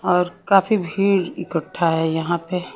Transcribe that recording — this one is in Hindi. और काफी भीड़ इकठ्ठा है यहां पे--